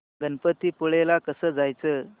गणपतीपुळे ला कसं जायचं